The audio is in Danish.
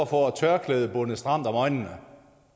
får et tørklæde bundet stramt om øjnene